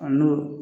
A n'o